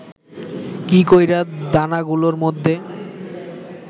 কী কইরা দানাগুলার মধ্যে